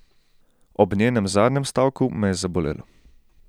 Ob njenem zadnjem stavku me je zabolelo.